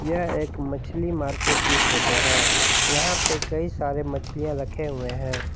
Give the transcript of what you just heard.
यह एक मछली मार्केट की फोटो है यहां पर कई सारे मछलियां रखे हुवे हैं।